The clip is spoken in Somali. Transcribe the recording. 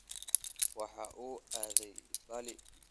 Waxa uu aaday balli.